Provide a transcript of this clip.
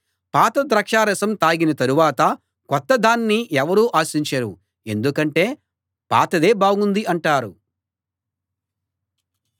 పాత ద్రాక్షారసం తాగిన తరువాత కొత్త దాన్ని ఎవరూ ఆశించరు ఎందుకంటే పాతదే బాగుంది అంటారు